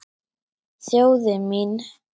Þjóðin mín.